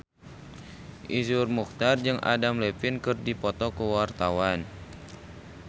Iszur Muchtar jeung Adam Levine keur dipoto ku wartawan